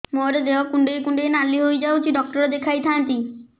ମୋର ଦେହ କୁଣ୍ଡେଇ କୁଣ୍ଡେଇ ନାଲି ହୋଇଯାଉଛି ଡକ୍ଟର ଦେଖାଇ ଥାଆନ୍ତି